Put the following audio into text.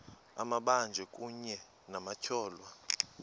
amabanjwa kunye nabatyholwa